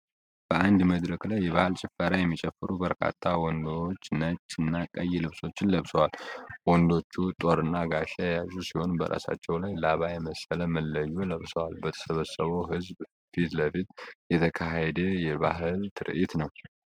በአንድ መድረክ ላይ የባህል ጭፈራ የሚጨፍሩ በርካታ ወንዶች ነጭ እና ቀይ ልብሶችን ለብሰዋል። ወንዶቹ ጦርና ጋሻ የያዙ ሲሆን በራሳቸው ላይ ላባ የመሰለ መለዮ ለብሰዋል። በተሰበሰበው ሕዝብ ፊት ለፊት የተካሄደ የባህል ትርዒት ነው።